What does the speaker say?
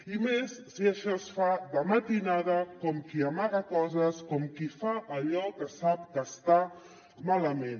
i més si això es fa de matinada com qui amaga coses com qui fa allò que sap que està malament